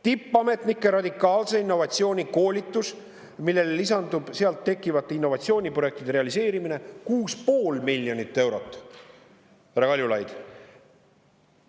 Tippametnike radikaalse innovatsiooni koolitus, millele lisandub sealt tekkivate innovatsiooniprojektide realiseerimine – 6,5 miljonit eurot, härra Kaljulaid.